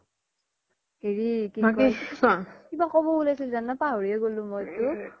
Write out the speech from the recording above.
বাকি হেৰি কিবা কব উলাইচিলো জানা পাহোৰিয়ে গ্'লো মইতো